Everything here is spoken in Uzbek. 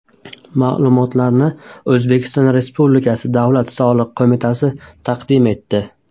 Ma’lumotlarni O‘zbekiston Respublikasi Davlat soliq qo‘mitasi taqdim etdi.